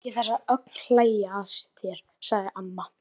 Láttu ekki þessa ögn hlæja að þér, sagði amma.